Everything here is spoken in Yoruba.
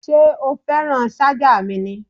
Ṣé o fẹ́ràn ṣájà mi ni?